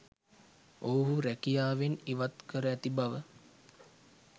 ඔවුහු රැකියාවෙන් ඉවත් කර ඇති බව